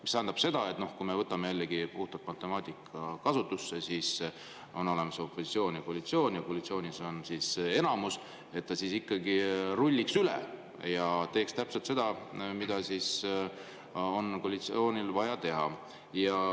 See tähendab, et kui me võtame jällegi puhtalt matemaatika kasutusse, siis on olemas opositsioon ja koalitsioon ja koalitsioonil on enamus, et ta ikkagi rulliks üle ja teeks täpselt seda, mida on koalitsioonil vaja teha.